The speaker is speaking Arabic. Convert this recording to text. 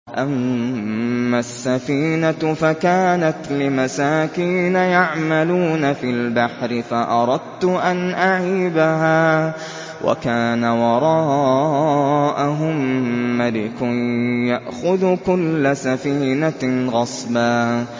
أَمَّا السَّفِينَةُ فَكَانَتْ لِمَسَاكِينَ يَعْمَلُونَ فِي الْبَحْرِ فَأَرَدتُّ أَنْ أَعِيبَهَا وَكَانَ وَرَاءَهُم مَّلِكٌ يَأْخُذُ كُلَّ سَفِينَةٍ غَصْبًا